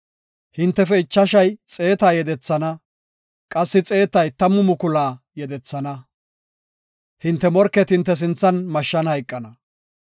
Hintefe ichashay xeeta yedethana; qassi xeetay tammu mukula yedethana. Hinte morketi hinte sinthan mashshan hayqana.